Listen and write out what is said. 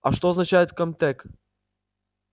а что означает ком-тек